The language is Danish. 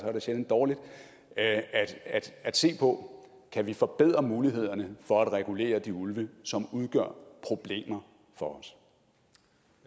er det sjældent dårligt se på om kan forbedre mulighederne for at regulere de ulve som udgør problemer for